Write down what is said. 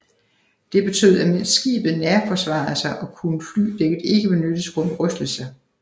Det betød at mens skibet nærforsvarede sig kunne flydækket ikke benyttes grundet rystelser